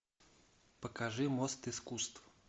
покажи мост искусств